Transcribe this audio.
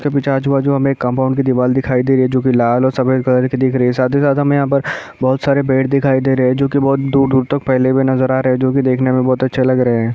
आजु बाजु हमें एक कंपाउंड की दीवार दिखाई दे रही है जो कि लाल और सफ़ेद रंग की है साथ ही साथ हमें यहाँ पर बहोत सारे पेड़ दिखाई दे रहे है जो कि बहोत दूर-दूर तक फैले हुए नज़र आ रहे है जो के देखने में बहोत अच्छे लग रहे है।